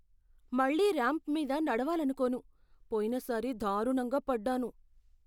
మళ్లీ ర్యాంప్ మీద నడవాలకోను. పోయినసారి దారుణంగా పడ్డాను.